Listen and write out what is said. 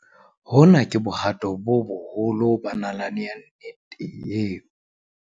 Hona ke bohato bo boholo ba nalane ya nnete eo.